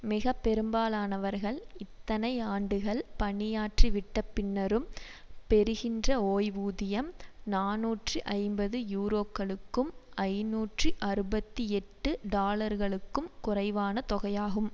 மிகப்பெரும்பாலானவர்கள் இத்தனை ஆண்டுகள் பணியாற்றிவிட்ட பின்னரும் பெறுகின்ற ஓய்வூதியம் நாநூற்று ஐம்பது யுரோக்களுக்கும் ஐநூற்றி அறுபத்தி எட்டு டாலர்களுக்கும் குறைவான தொகையாகும்